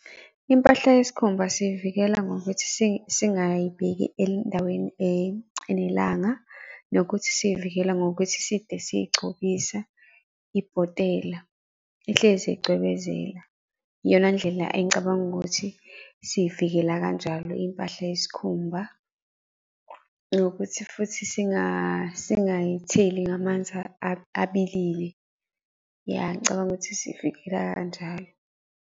Impahla yesikhumba siyivikela ngokuthi singayibeki endaweni enelanga. Nokuthi siyivikele ngokuthi side sigcobisa ibhotela, ihlezi icwebezela. Iyona ndlela engicabanga ukuthi siyivikela kanjalo impahla yesikhumba. Ngokuthi futhi singayitheli ngamanzi abilile. Ya ngicabanga ukuthi siyivikela kanjalo.